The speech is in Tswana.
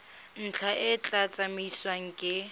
ntlha e tla tsamaisiwa ke